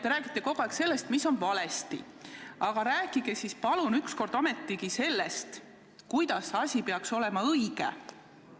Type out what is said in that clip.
Te räägite kogu aeg sellest, mis on valesti, aga rääkige siis palun ükskord ometigi sellest, kuidas asi peaks olema, kuidas oleks õige.